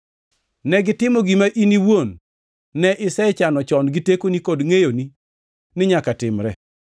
Negitimo gima in iwuon ne isechano chon gi tekoni kod ngʼeyoni ni nyaka timre.